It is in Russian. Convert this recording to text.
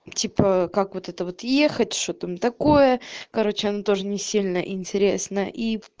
типа как вот это вот ехать что там такое короче она тоже не сильно интересно и